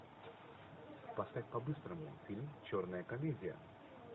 поставь по быстрому фильм черная комедия